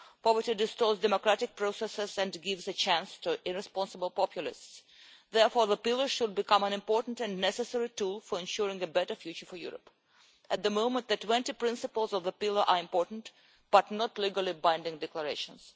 Poverty distorts democratic processes and gives a chance to irresponsible populists. Therefore, the pillar should become an important and necessary tool for ensuring a better future for Europe. At the moment, the 20 principles of the pillar are important, but not legally binding declarations.